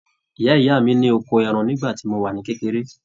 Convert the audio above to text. Ìyá ìyá mi ni ọkọ ẹran ni ìgbà tí mo wà ní kékeré.